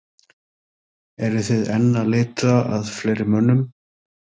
Eruð þið enn að leita að fleiri mönnum?